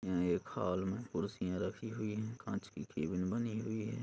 यहाँ एक हॉल में कुर्सियाँ रखी हुई हैं कांच की केबिन बनी हुई है।